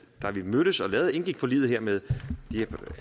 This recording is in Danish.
da vi mødtes og indgik forliget her med